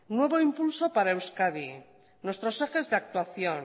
nuevo impulso para euskadi nuestros ejes de actuación